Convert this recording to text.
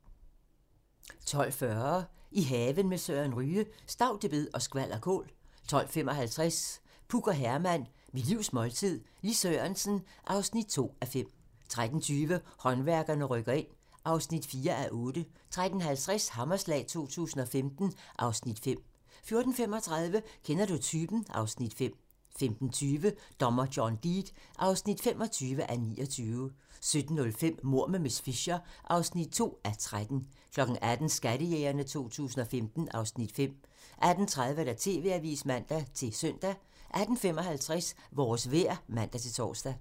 12:40: I haven med Søren Ryge: Staudebed og skvalderkål 12:55: Puk og Herman - mit livs måltid - Lis Sørensen (2:5) 13:20: Håndværkerne rykker ind (4:8) 13:50: Hammerslag 2015 (Afs. 5) 14:35: Kender du typen? (Afs. 5) 15:20: Dommer John Deed (25:29) 17:05: Mord med miss Fisher (2:13) 18:00: Skattejægerne 2015 (Afs. 5) 18:30: TV-avisen (man-søn) 18:55: Vores vejr (man-tor)